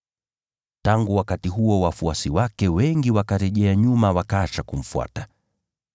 Tangu wakati huo wafuasi wake wengi wakarejea nyuma wakaacha kumfuata.